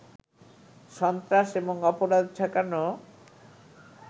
সন্ত্রাস এবং অপরাধ ঠেকানো